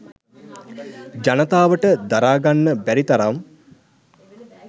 ජනතාවට දරා ගන්න බැරි තරම්.